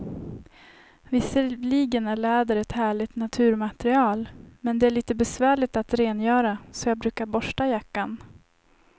Visserligen är läder ett härligt naturmaterial, men det är lite besvärligt att rengöra, så jag brukar borsta jackan.